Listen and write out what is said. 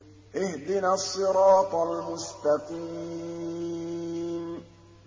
اهْدِنَا الصِّرَاطَ الْمُسْتَقِيمَ